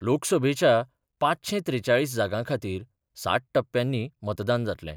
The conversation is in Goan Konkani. लोकसभेच्या पाचशें त्रेचाळीस जागां खातीर सात टप्प्यांनी मतदान जातले.